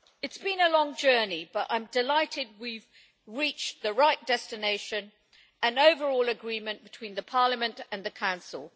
It has been a long journey, but I am delighted we have reached the right destination, an overall agreement between Parliament and the Council.